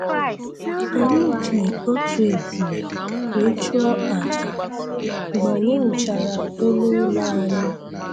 Anyị ji otu ebule wee chụọ àjà mgbe anyị wuchara elu ụlọ anyị.